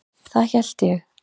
Það hélt ég.